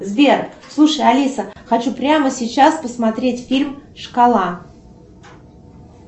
сбер слушай алиса хочу прямо сейчас посмотреть фильм шкала